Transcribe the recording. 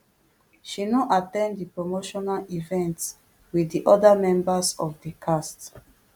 she no at ten d di promotional events wit di oda members of di cast